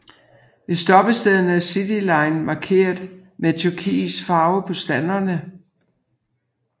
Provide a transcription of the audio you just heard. Ved stoppestederne er Cityline markeret med turkis farve på standerne